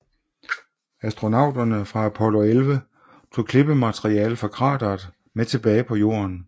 Astronauterne fra Apollo 11 tog klippemateriale fra krateret med tilbage på Jorden